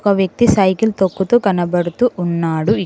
ఒక వ్యక్తి సైకిల్ తొక్కుతూ కనబడుతూ ఉన్నాడు ఇ--